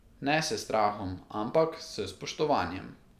Ne s strahom, ampak s spoštovanjem.